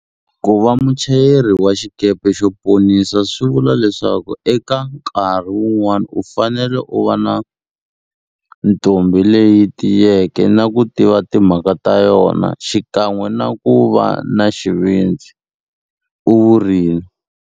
Ku va muchayeri wa xikepe xo ponisa swivula leswaku eka nkarhi wun'wana u fanele u va ntombi leyi yi tiyeke na ku tiva timhaka ta yona xikan'we na ku va na xivindzi, u vurile.